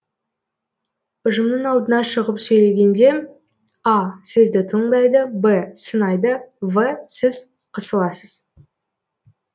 ұжымның алдына шығып сөйлегенде а сізді тыңдайды б сынайды в сіз қысыласыз